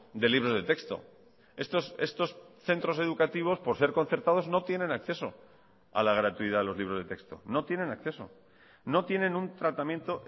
de libros de texto estos centros educativos por ser concertados no tienen acceso a la gratuidad de los libros de texto no tienen acceso no tienen un tratamiento